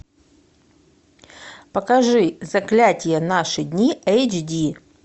покажи заклятие наши дни эйч ди